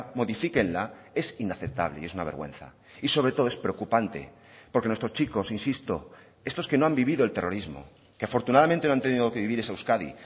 modifíquenla es inaceptable y es una vergüenza y sobre todo es preocupante porque nuestros chicos insisto estos que no han vivido el terrorismo que afortunadamente no han tenido que vivir esa euskadi